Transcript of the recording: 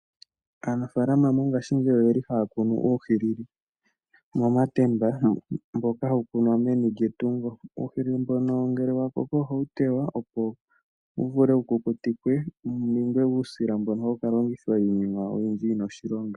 Aanafaalama mongaashingeyi oyeli haya kunu uuhilili momatemba mboka hawu kunwa meni lyetungo. Uuhilili mbono ngele wa koko ohawu tewa, opo wu vule wu kukutikwe, wu ninge uusila mbono hawu kalongithwa iinima oyindji yina oshilonga.